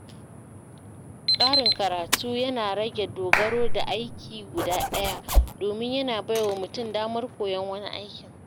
Ƙarin karatu yana rage dogaro da aiki guda ɗaya, domin yana bai wa mutum damar koyon wani aikin.